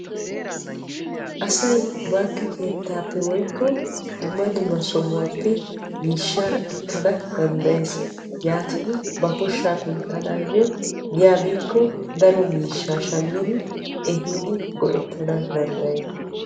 Asay bankke keettan woykko dumma dumma sohuwan miishsha ekkana danddayees. Ya biiddi ba koyyiddo miishsha ekkanna koyees.